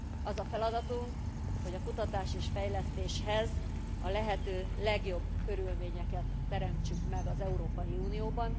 Az a feladatunk, hogy a kutatás fejlesztéshez a lehető legjobb körülményeket teremtsük meg az Európai Unióban.